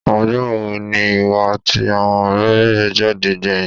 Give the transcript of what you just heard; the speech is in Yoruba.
Ọjọ́ wo ni ìwọ àti àwọn ọ̀rẹ́ ẹ jáde gbẹ̀yìn?